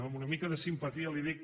amb una mica de simpatia li ho dic